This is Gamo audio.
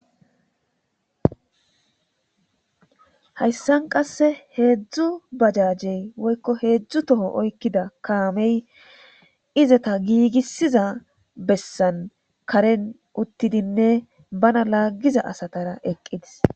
hayssan qasse heedzdzu bajajey woykko heedzdzu toho oykkida kaamey izeta giigissiza bessan karen uttidinne bana laaggiza asatara eqqidis